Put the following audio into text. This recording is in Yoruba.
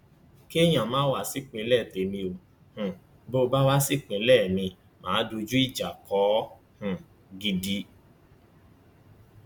kéèyàn má wá sí ìpínlẹ témi o um bó bá wá sí ìpínlẹ mi mà á dojú ìjà kọ ọ um gidi